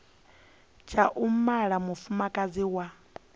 tsha u mala mufumakadzi wa